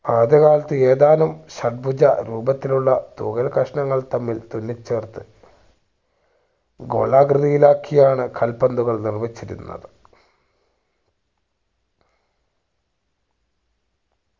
ആദ്യകാലത്തു ഏതാനും ഷദ്‌ബുജ രൂപത്തിലുള്ള തൂവൽക്കഷ്ണങ്ങൾ തമ്മിൽ തുന്നി ചേർത്ത് ഗോളാകൃതിയിലാക്കി ആണ് കാൽ പന്തുകൾ നിർമ്മിച്ചിരുന്നത്